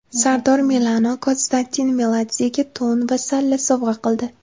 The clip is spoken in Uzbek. Sardor Milano Konstantin Meladzega to‘n va salla sovg‘a qildi.